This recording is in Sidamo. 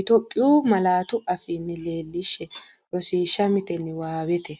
Itophiyu malaatu afiinni leellishshe Rosiishsha Mite Niwaawete.